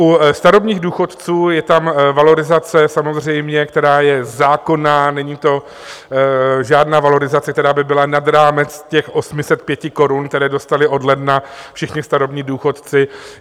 U starobních důchodců je tam valorizace samozřejmě, která je zákonná, není to žádná valorizace, která by byla nad rámec těch 805 korun, které dostali od ledna všichni starobní důchodci.